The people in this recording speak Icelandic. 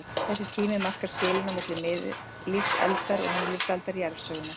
Þessi tími markar skilin á milli miðlífsaldar og nýlífsaldar jarðsögunnar.